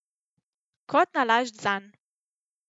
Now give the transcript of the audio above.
Kot zanalašč zanj.